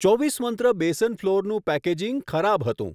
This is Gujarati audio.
ચોવીસ મંત્ર બેસન ફ્લોરનું પેકેજીંગ ખરાબ હતું.